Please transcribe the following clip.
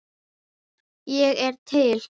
Ég er til